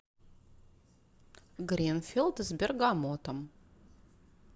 гринфилд с бергамотом